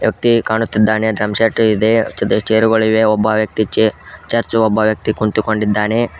ವ್ಯಕ್ತಿ ಕಾಣುತ್ತಿದ್ದಾನೆ drum set ಇದೆ ಚೆರುಗಳಿವೆ ಒಬ್ಬ ವ್ಯಕ್ತಿ ಛೆ ಚರ್ಚ್ ಒಬ್ಬ ವ್ಯಕ್ತಿ ಕುಂತುಕೊಂಡಿದ್ದಾನೆ.